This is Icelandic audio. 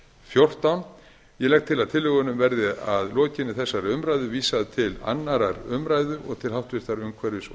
fjórtán ég legg til að tillögunum verði að lokinni þessari umræðu vísað til annarrar umræðu og til